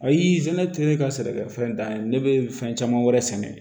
Ayi sɛnɛ tɛ ne ka sɛnɛkɛfɛn dan ye ne bɛ fɛn caman wɛrɛ sɛnɛ